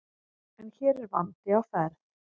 En hér er vandi á ferð.